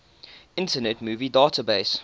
internet movie database